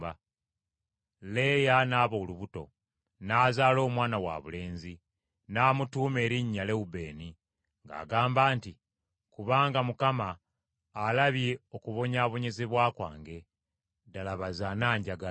Leeya n’aba olubuto, n’azaala omwana wabulenzi. N’amutuuma erinnya Lewubeeni, ng’agamba nti, “Kubanga Mukama alabye okubonyaabonyezebwa kwange: ddala baze ananjagala.”